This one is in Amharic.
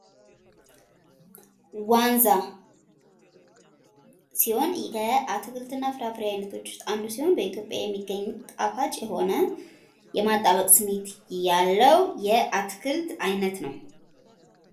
ዋንዛ ሲሆን ከአትክልትና ፍራፍሬ አይነቶች ውስጥ አንዱ ሲሆን። በኢትዮጵያ የሚገኝ ጣፋጭ የሆነ የማጣበቅ ስሜት ያለው የአትክልት አይነት ነው።